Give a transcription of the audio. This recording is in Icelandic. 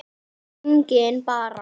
Engin Bera.